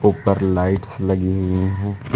ऊपर लाइट्स लगी हुई हैं।